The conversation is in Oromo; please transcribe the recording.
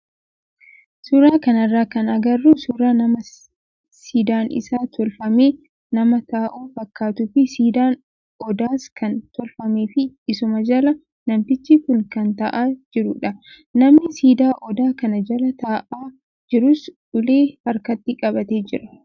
Suuraa kanarraa kan agarru suuraa nama siidaan isaa tolfamee nama taa'u fakkaatuu fi siidaan odaas kan tolfamee fi isuma jala namtichi kun kan taa'aa jirudha. Namni siidaa odaa kanaa jala taa'aa jirus ulee harkatti qabatee jira.